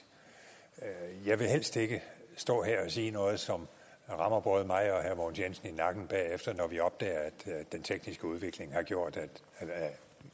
jeg vil helst ikke stå her og sige noget som rammer både mig og herre mogens jensen i nakken bagefter når vi opdager at den tekniske udvikling har gjort